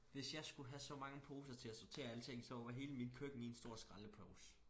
Hvis jeg skulle have så mange poser til at sortere alt ting så var hele mit køkken én stor skraldepose